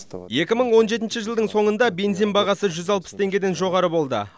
екі мың он жетінші жылдың соңында бензин бағасы жүз алпыс теңгеден жоғары болды